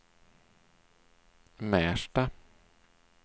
Märsta